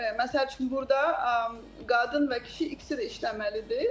Məsəl üçün, burda qadın və kişi ikisi də işləməlidir.